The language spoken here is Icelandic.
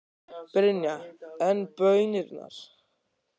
Brynja: En baunirnar?